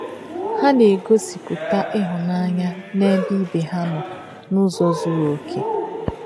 Ha na-egosipụta ịhụnanya n'ebe ibe ha nọ n'ụzọ zuru okè.